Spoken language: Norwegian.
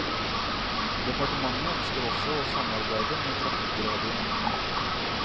Departementet ønsker også å samarbeide med trafikkradioen.